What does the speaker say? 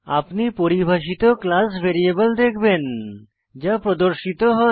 আপনি পরিভাষিত class variable দেখবেন যা প্রদর্শিত হয়